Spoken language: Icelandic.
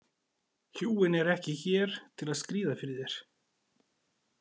Hjúin eru ekki hér til að skríða fyrir þér.